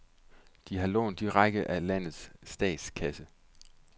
De har lånt direkte af landets statskasse.